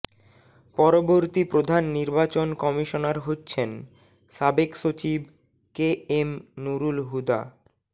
পরবর্তী প্রধান নির্বাচন কমিশনার হচ্ছেন সাবেক সচিব কে এম নুরুল হুদা